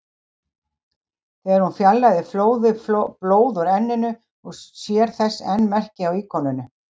Þegar hún var fjarlægð flóði blóð úr enninu og sér þess enn merki á íkoninum.